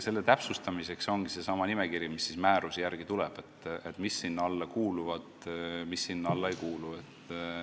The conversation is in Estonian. Selle täpsustamiseks, mis sinna alla kuuluvad ja mis sinna alla ei kuulu, ongi seesama nimekiri, mis määruse järgi tuleb.